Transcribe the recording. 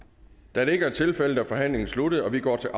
da det ikke er tilfældet er forhandlingen sluttet og vi går til